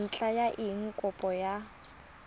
ntlha ya eng kopo ya